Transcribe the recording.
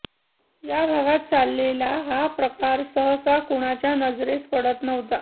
या भागात चाललेला हा प्रकार सहसा कुणाच्या नजरेस पडत नव्हता